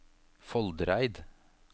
Foldereid